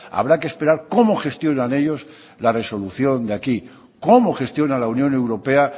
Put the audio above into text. habrá que esperar cómo gestionan ellos la resolución de aquí cómo gestiona la unión europea